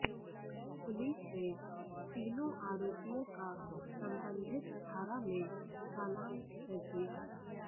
police ने तीनों आरोपियों का संबंधित धारा में चालान कर दिया